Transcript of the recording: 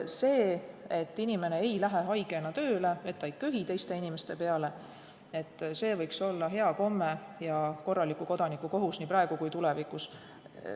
See, et inimene ei lähe haigena tööle, et ta ei köhi teiste inimeste peale, võiks olla hea komme ja korraliku kodaniku kohus nii praegu kui ka tulevikus.